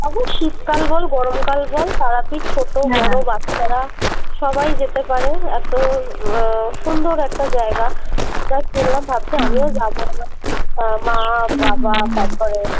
তারপর শীতকাল বল গরম কাল বল তারাপীঠ ছোট বড়ো বাচ্ছারা সবাই যেতে পারে এতো উম আহ সুন্দর একটা জায়গা যা শুনলাম ভাবছি আমিও যাবো এবার আহ মা বাবা তারপরে